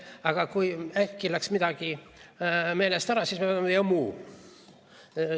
Aga kui äkki läks midagi meelest ära, siis me paneme "ja muu".